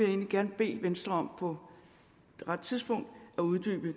egentlig gerne bede venstre om på det rette tidspunkt at uddybe